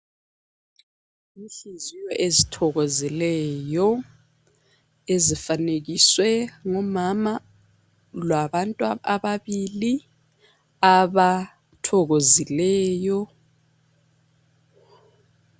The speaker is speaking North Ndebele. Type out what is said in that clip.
Inhliziyo ezithokozileyo ezifanekiswe ngomama labantu ababili abathokozileyo.